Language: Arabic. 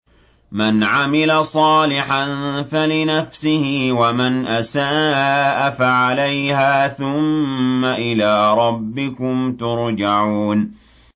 مَنْ عَمِلَ صَالِحًا فَلِنَفْسِهِ ۖ وَمَنْ أَسَاءَ فَعَلَيْهَا ۖ ثُمَّ إِلَىٰ رَبِّكُمْ تُرْجَعُونَ